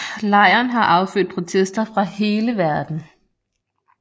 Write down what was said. Lejren har affødt protester fra hele verden